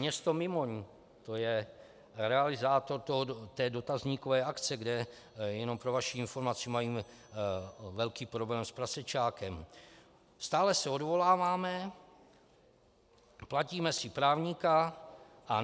Město Mimoň, to je realizátor té dotazníkové akce, kde, jenom pro vaši informaci, mají velký problém s prasečákem: Stále se odvoláváme, platíme si právníka a